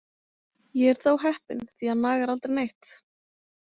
Ég er þó heppinn, því hann nagar aldrei neitt.